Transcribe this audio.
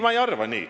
Mina ei arva nii.